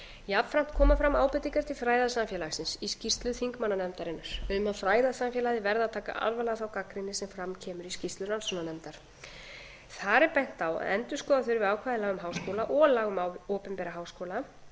jafnframt koma fram ábendingar til fræðasamfélagsins í skýrslu þingmannanefndarinnar um að fræðasamfélagið verði að taka alvarlega þá gagnrýni sem fram kemur í skýrslu rannsóknarnefndar þar er bent á að endurskoða þurfi ákvæði laga um háskóla og laga um opinbera háskóla